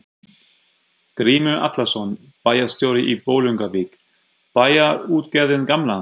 Grímur Atlason, bæjarstjóri í Bolungarvík: Bæjarútgerðin gamla?